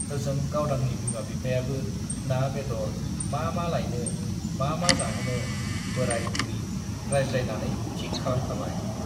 ओजों गावदांनि बिमा-बिफायाबो ना-बेदर मा मा लायनो, मा मा जाहोनो बोराय-बुरि रायज्लायनानै थिक खालाम खाबाय।